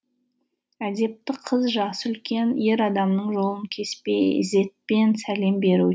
әдепті қыз жасы үлкен ер адамның жолын кеспей ізетпен сәлем беруі